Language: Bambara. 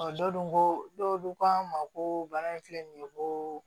dɔw dun ko dɔw dun k'an ma ko bana in filɛ nin ye ko